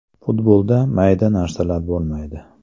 Futbolda mayda narsalar bo‘lmaydi.